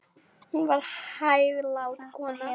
Hún var hæglát kona.